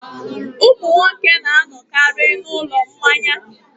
Ụmụ nwoke na-anọkarị n'ụlọ mmanya.